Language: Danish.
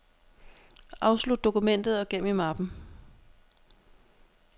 Afslut dokumentet og gem i mappen.